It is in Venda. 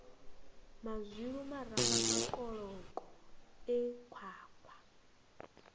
mazwilu maramba makoloko e khwakhwa